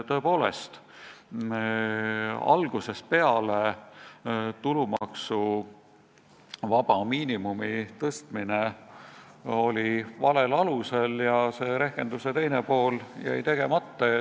Tõepoolest, algusest peale oli tulumaksuvaba miinimumi tõstmine valel alusel ja rehkenduse teine pool jäi tegemata.